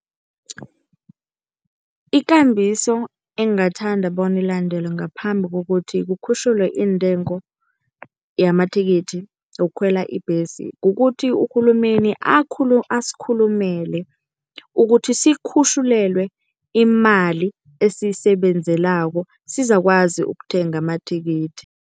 Ikambiso engingathanda bona ilandelwe ngaphambi kokuthi kukhutjhulwe iintengo yamathikithi yokukhwela ibhesi kukuthi, urhulumeni asikhulumele ukuthi sikhutjhulelwe imali esiyisebenzelako sizakwazi ukuthenga amathikithi.